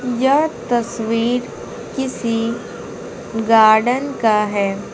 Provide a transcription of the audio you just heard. यह तस्वीर किसी गार्डन का है।